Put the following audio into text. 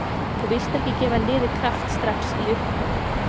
Þú vilt ekki gefa liði kraft strax í upphafi.